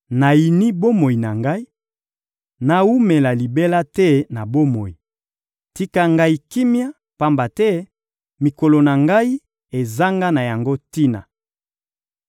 Nayini bomoi na ngai; nawumela libela te na bomoi! Tika ngai kimia, pamba te mikolo na ngai ezanga na yango tina.